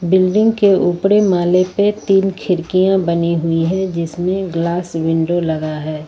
Building के ऊपरे माले पे तीन खिड़कियां बनी हुई है जिसमे ग्लास विंडो लगा है।